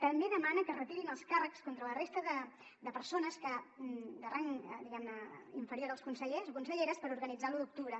també demana que es retirin els càrrecs contra la resta de persones de rang diguem ne inferior als consellers o conselleres per organitzar l’u d’octubre